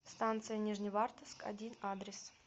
станция нижневартовск один адрес